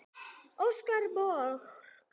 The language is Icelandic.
Óskar Borg.